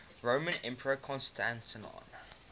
roman emperor constantine